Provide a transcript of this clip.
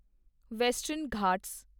western Ghat